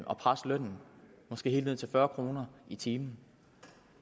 og presse lønnen måske helt ned til fyrre kroner i timen